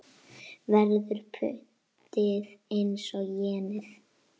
Verður pundið eins og jenið?